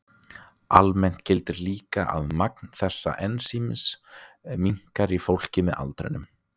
Almennt gildir líka að magn þessa ensíms minnkar í fólki með aldrinum.